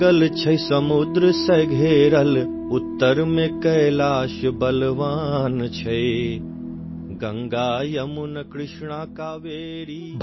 মৈথিলী ধ্বনি clip ৩০ second